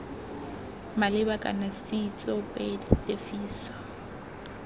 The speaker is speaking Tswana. maleba kana c tsoopedi tefiso